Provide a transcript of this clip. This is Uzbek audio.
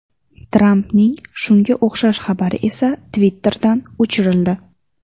Trampning shunga o‘xshash xabari esa Twitter’dan o‘chirildi .